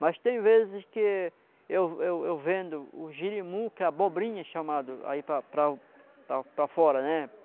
Mas tem vezes que eu eu eu vendo o jirimu, que é abobrinha, chamado aí para para para para fora, né?